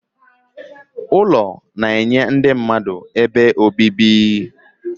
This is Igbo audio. Ụlọ na-enye ndị mmadụ ebe obibi.